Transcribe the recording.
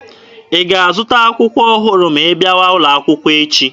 Ị ga-azụta akwụkwọ ọhụrụ ma ị bịawa ụlọ akwụkwọ echi!